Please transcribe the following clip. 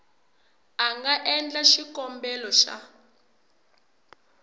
a nga endla xikombelo xa